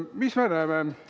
Mis me näeme?